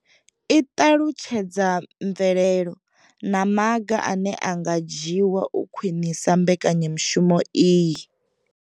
I ṱalutshedza mvelelo na maga ane a nga dzhiwa u khwinisa mbekanyamushumo iyi.